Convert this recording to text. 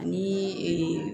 Ani